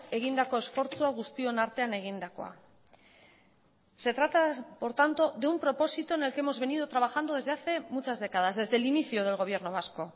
egindako esfortzua guztion artean egindakoa se trata por tanto de un propósito en el que hemos venido trabajando desde hace muchas décadas desde el inicio del gobierno vasco